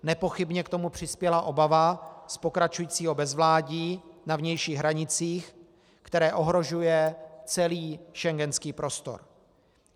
Nepochybně k tomu přispěla obava z pokračujícího bezvládí na vnějších hranicích, které ohrožuje celý schengenský prostor.